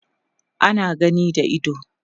ana gani da ido